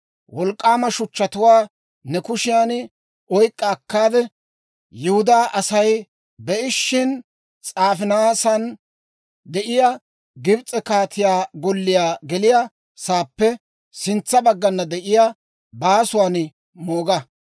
«Wolk'k'aama shuchchatuwaa ne kushiyan oyk'k'a akkaade, Yihudaa Asay be'ishina, s'aafinaasan de'iyaa Gibs'e kaatiyaa golliyaa geliyaa saappe sintsa baggana de'iyaa baasuwaan mooga.